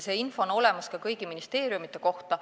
See info on olemas kõigi ministeeriumide kohta.